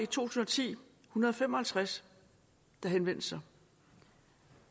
tusind og ti en hundrede og fem og halvtreds der henvendte sig